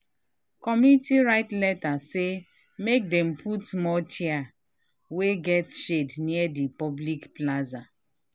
community write letter say make dem put more chair wey get shade near the public plaza.